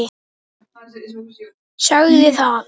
Sagði það.